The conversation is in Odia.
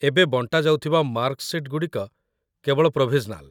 ଏବେ ବଣ୍ଟା ଯାଉଥିବା ମାର୍କ ସିଟ୍‌ଗୁଡ଼ିକ କେବଳ ପ୍ରୋଭିଜନାଲ୍